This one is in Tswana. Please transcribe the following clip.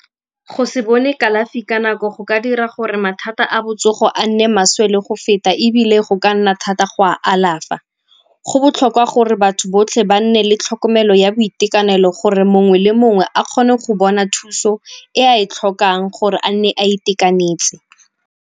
Go se bone kalafi ka nako go ka dira gore mathata a botsogo a nne maswe le go feta ebile go ka nna thata go a alafa. Go botlhokwa gore batho botlhe ba nne le tlhokomelo ya boitekanelo gore mongwe le mongwe a kgone go bona thuso e a e tlhokang gore a nne a itekanetse.